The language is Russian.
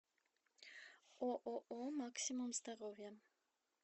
ооо максимум здоровья